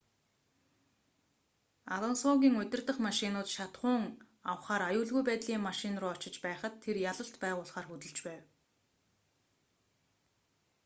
алонсогийн урдах машинууд шатахуун авахаар аюулгүй байдлын машин руу очиж байхад тэр ялалт байгуулахаар хөдөлж байв